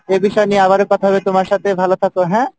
এ বিষয় নিয়ে আবারো কথা হবে তোমার সাথে ভালো থাকো হ্যাঁ?